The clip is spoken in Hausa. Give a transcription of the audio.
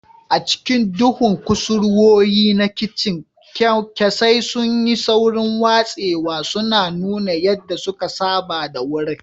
A cikin duhun kusurwoyi na kicin, kyankyasai sun yi saurin watsewa, suna nuna yadda suka saba da wurin.